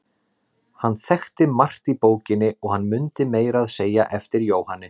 Hann þekkti margt í bókinni og hann mundi meira að segja eftir Jóhanni